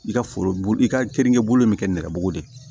I ka foro i ka keninke bolo bɛ kɛ nɛrɛbugu de ye